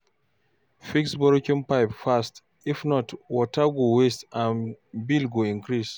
Fix broken pipe fast, if not, water go waste and bill go increase.